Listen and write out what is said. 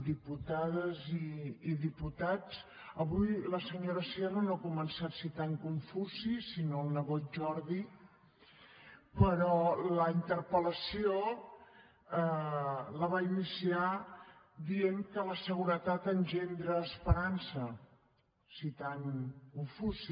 diputades i diputats avui la senyora sierra no ha començat citant confuci sinó el nebot jordi però la interpel·lació la va iniciar dient que la seguretat engendra esperança citant confuci